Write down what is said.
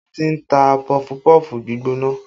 Ibo ni wọ́n ti ń ta pọfupọ́ọ̀fù gbígbóná?